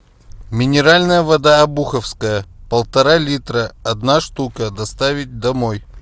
минеральная вода обуховская полтора литра одна штука доставить домой